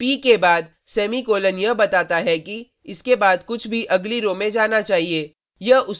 p के बाद semicolon यह बताता है कि इसके बाद कुछ भी अगली रो में जाना चाहिए